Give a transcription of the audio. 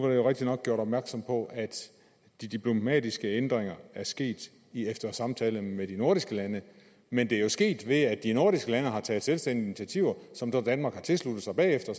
jeg rigtig nok gjort opmærksom på at de diplomatiske ændringer er sket efter samtale med de nordiske lande men det er jo sket at de nordiske lande har taget selvstændige initiativer som danmark har tilsluttet sig bagefter